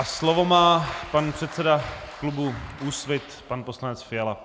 A slovo má pan předseda klubu Úsvit pan poslanec Fiala.